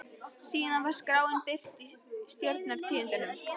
Síðan var skráin birt í Stjórnar- tíðindum.